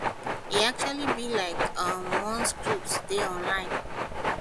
e actually be like um one script dey online